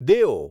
દેઓ